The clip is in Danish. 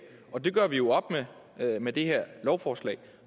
og det gør vi jo op med med det her lovforslag